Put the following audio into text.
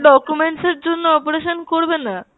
documents এর জন্য operation করবেনা?